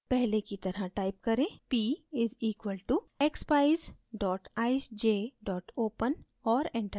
पहले की तरह type करें p = expeyes eyesj open और enter दबाएँ